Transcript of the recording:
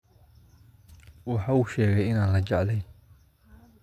Waxa uu sheegay in aan la jeclayn